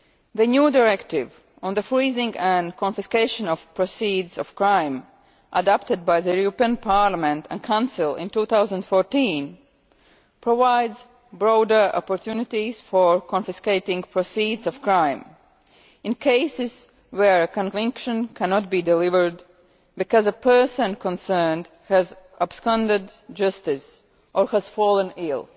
The new directive on the freezing and confiscation of proceeds of crime, adopted by the European Parliament and Council in 2014, provides broader opportunities for confiscating the proceeds of crime in cases where a conviction cannot be delivered because the person concerned has absconded from justice or has fallen ill.